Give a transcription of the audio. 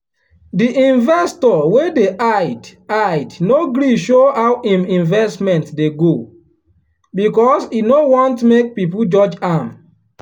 the investor wey dey hide hide no gree show how him investment dey go because e no want make people judge am.